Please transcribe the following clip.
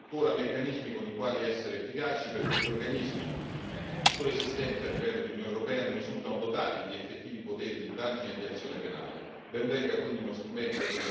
Non esistevano e non esistono tuttora meccanismi con i quali essere efficaci perché gli organismi tuttora esistenti a livello di Unione europea non risultano dotati di effettivi poteri di indagine e di azione penale.